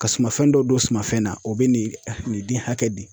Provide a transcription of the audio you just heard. Ka sumafɛn dɔ don sumanfɛn na o bɛ nin den hakɛ di.